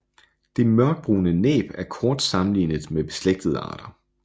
Det mørkebrune næb er kort sammenlignet med beslægtede arter